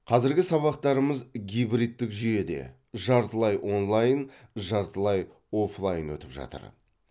қазіргі сабақтарымыз гибридтік жүйеде жартылай онлайн жартылай оффлайн өтіп жатыр